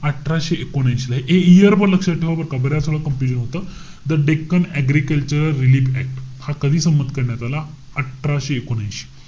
अठराशे एकोणऐशी ला. हे year पण लक्षात ठेवा बरं का. बऱ्याच वेळा हे होतं. The Deccan agriculture relief act, हा कधी संमत करण्यात आला? अठराशे एकोणऐशी.